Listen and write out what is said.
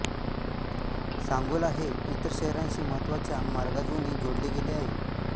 सांगोला हे इतर शहरांशी महत्त्वाच्या मार्गांजोनी जोडले गेले आहे